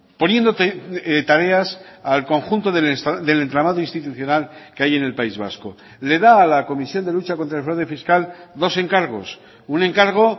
poniendo tareas al conjunto del entramado institucional que hay en el país vasco le da a la comisión de lucha contra el fraude fiscal dos encargos un encargo